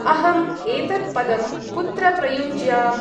अहम् एतत् पदं कुत्र प्रयुञ्ज्याम्?